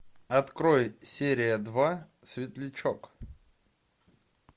открой серия два светлячок